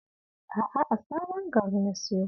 A'a, a Sabon Gari na siyo